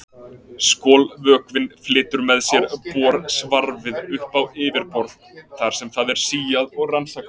Skolvökvinn flytur með sér borsvarfið upp á yfirborð þar sem það er síað og rannsakað.